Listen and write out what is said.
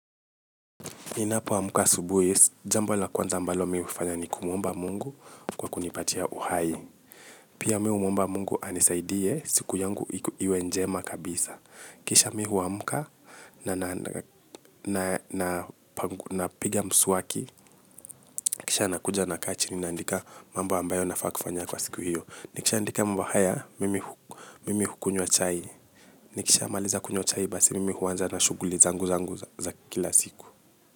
Ninapo amka asubuhi, jambo la kwanza mbalo mi hufanya ni kumomba mungu kwa kunipatia uhai. Pia mi hu mwomba mungu anisaidie siku yangu iwe njema kabisa. Kisha mi hu amka. Napiga kisha nakuja na kaa chini na andika mambo ambayo nafaa kufanya kwa siku hiyo. Nikisha andika mambo haya, mimi hukunywa chai. Nikisha amaliza kunywa chai basi mimi huanza na shughuli zangu zangu za kila siku.